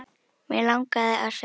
Mig langaði að segja